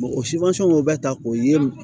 o o bɛ ta k'o yiri